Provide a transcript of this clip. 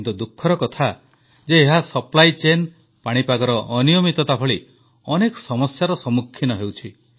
କିନ୍ତୁ ଦୁଃଖର କଥା ଯେ ଏହା ଯୋଗାଣ ଅସୁବିଧା ପାଣିପାଗର ଅନିୟମିତତା ଭଳି ଅନେକ ସମସ୍ୟାର ସମ୍ମୁଖୀନ ହେଉଛି